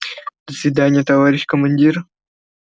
до свидания товарищ командир